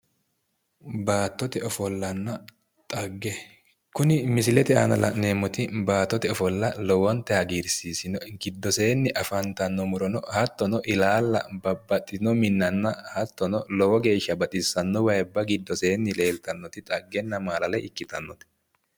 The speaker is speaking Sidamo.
Baattote ofollanna xagge kuni misilete aana la'neemoti bbattote ofolla lowntayi hagiirsiisino"e giddoseenni afantanno murono hattono ilalla babbaxxitino minnanna hattono lowo geeshsha bxissanno wayiibba giddoseenni afantannoti lowontanni dhaggenna maalalo iikitino"e.